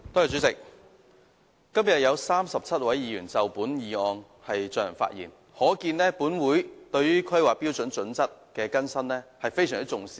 主席，今天有37位議員就本議案發言，可見本會對於《香港規劃標準與準則》的更新，非常重視。